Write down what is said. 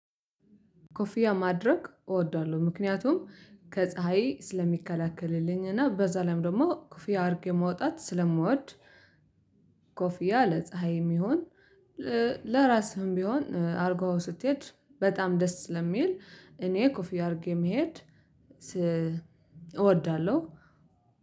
ኮፊያ ማድረግ እወዳለው ምክንያቱም ከፀሀይ ስለሚከለክልልኝ እና በዛ ላይም ደግሞ ኮፊያ አሪጌ መውጣት ስለምወድ ኮፊያ ለፀሀይ የሚሆን ለራስህም ቢሆን አርጎ ስትሄድ በጣም ደስ ስለሚል እኔ ኮፊያ አርጌ መሄድ እወዳለው።